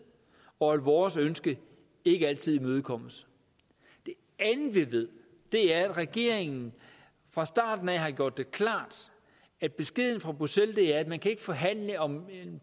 og at vores ønske ikke altid imødekommes det andet vi ved er at regeringen fra starten af har gjort det klart at beskeden fra bruxelles er at man ikke kan forhandle om en